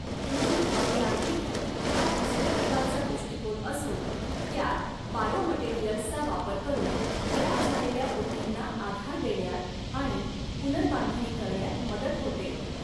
ऊती अभियांत्रिकी हा दुसऱ्या प्रकारचा दृष्टीकोन असून त्यात बायोमटेरिअल्सचा वापर करून खराब झालेल्या ऊतींना आधार देण्यात आणि पुनर्बांधणी करण्यात मदत होते.